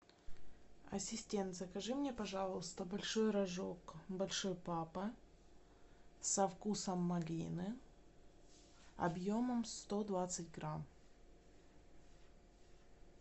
ассистент закажи мне пожалуйста большой рожок большой папа со вкусом малины объемом сто двадцать грамм